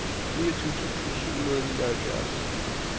niogtyve tusind syv hundrede og nioghalvfjerds